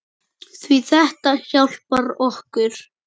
Því þetta hjálpar okkur.